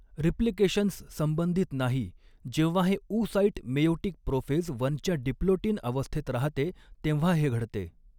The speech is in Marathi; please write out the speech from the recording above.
रिप्लिकेशन्स संबंधित नाही जेव्हा हे ऊसाइट मेयोटिक प्रोफेज वनच्या डिप्लोटिन अवस्थेत राहते तेव्हा हे घडते.